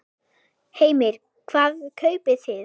Heimir: Hvað kaupið þið?